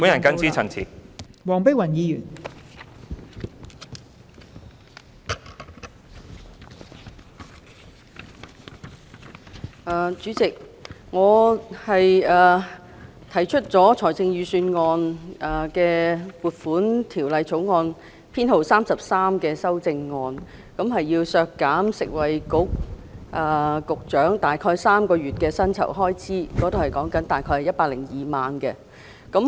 代理主席，我就《2019年撥款條例草案》提出編號33的修正案，建議削減食物及衞生局局長大概3個月的薪酬開支，即大概102萬元。